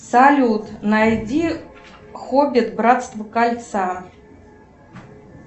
салют найди хоббит братство кольца